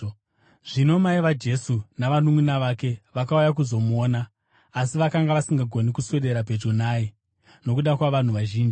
Zvino mai vaJesu navanunʼuna vake vakauya kuzomuona, asi vakanga vasingagoni kuswedera pedyo naye nokuda kwavanhu vazhinji.